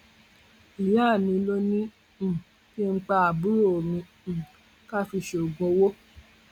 ìyá mi ló ní um kí n pa àbúrò mi um ká fi ṣoògùn owó